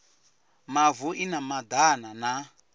mavu i na madana na